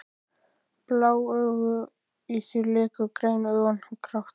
Bláu augun í þér léku grænu augun grátt.